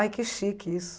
Ai, que chique isso.